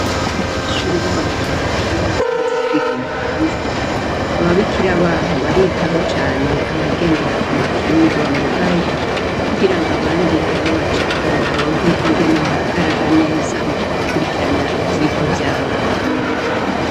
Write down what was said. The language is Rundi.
Abanyeshure bo mwijenda iyo basohotse kwigira hanze ababikira baho baritaho cane abagendera kumakinga bamugaye kugirango abandi ntibabaceko baronke ingene bahagarara neza mugukurikirana ivyirwa vyabo.